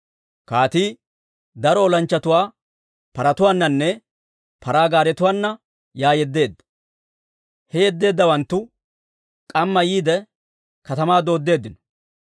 Kaatii daro olanchchatuwaa paratuwaananne paraa gaaretuwaana yaa yeddeedda. He yeddeeddawanttu k'amma yiide, katamaa dooddeeddino.